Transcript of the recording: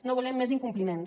no volem més incompliments